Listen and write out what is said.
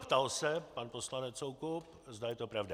Ptal se, pan poslanec Soukup, zda je to pravda.